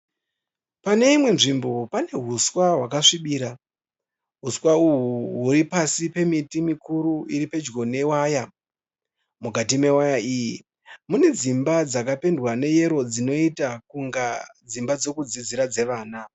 Pane imwe nzvimbo pane huswa hwakasvibira. Huswa uhwu huri pasi pemiti mikuru iri pedyo newaya. Mukati mewaya iyi mune dzimba dzakapendwa neyero dzinoita kunge dzimba dzokudzidzira dzevana.